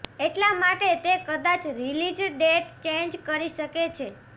એટલા માટે તે કદાચ રિલીઝ ડેટ ચેન્જ કરી શકે છે